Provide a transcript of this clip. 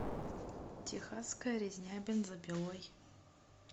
техасская резня бензопилой